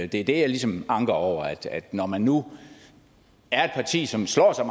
det er det jeg ligesom anker over når man nu er et parti som slår sig